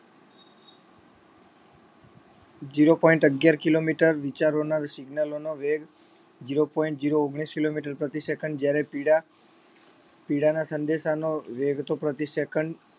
zero point અગિયાર kilometer વિચારોના signals નો વેગ, zero point zero ઓગણીસ kilometer પ્રતિ second જયારે પીડા પીડાના સંદેશાનો વેગ તો પ્રતિ second